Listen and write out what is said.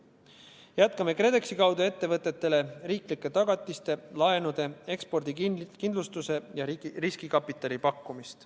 Jätkame KredExi kaudu ettevõtetele riiklike tagatiste, laenude, ekspordikindlustuse ja riskikapitali pakkumist.